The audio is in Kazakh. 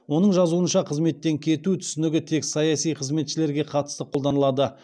оның жазуынша қызметтен кету түсінігі тек саяси қызметшілерге қатысты қолданылады